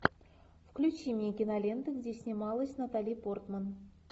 включи мне киноленты где снималась натали портман